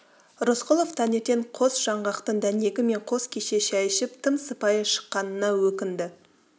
рысқұлов таңертең қос жаңғақтың дәнегі мен қос кесе шай ішіп тым сыпайы шыққанына өкінді